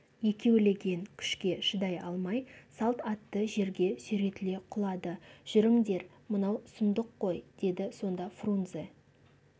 екеулеген күшке шыдай алмай салт атты жерге сүйретіле құлады жүріңдер мынау сұмдық қой деді сонда фрунзе